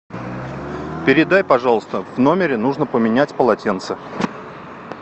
передай пожалуйста в номере нужно поменять полотенце